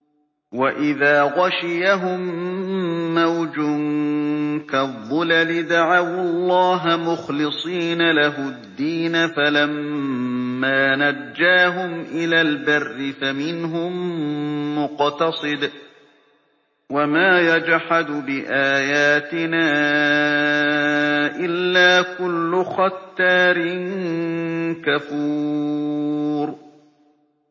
وَإِذَا غَشِيَهُم مَّوْجٌ كَالظُّلَلِ دَعَوُا اللَّهَ مُخْلِصِينَ لَهُ الدِّينَ فَلَمَّا نَجَّاهُمْ إِلَى الْبَرِّ فَمِنْهُم مُّقْتَصِدٌ ۚ وَمَا يَجْحَدُ بِآيَاتِنَا إِلَّا كُلُّ خَتَّارٍ كَفُورٍ